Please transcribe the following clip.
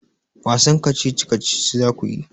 Wasan kacici-kacici za ku yi?